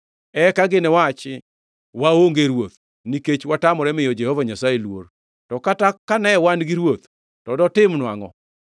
Eka giniwachi, “Waonge ruoth nikech watamore miyo Jehova Nyasaye luor. To kata kane wan gi ruoth, to dotimonwa angʼo?”